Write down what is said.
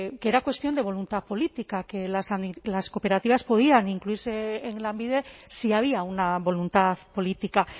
que era cuestión de voluntad política que las cooperativas podrían incluirse en lanbide si había una voluntad política